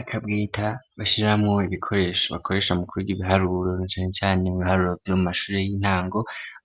Akabweta bashiramwo ibikoresho bakoresha mu kwiga ibiharuro na cane cane mu biharuro vyo mu mashure y'intango